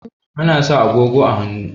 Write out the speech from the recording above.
Ana sa agogo a hannu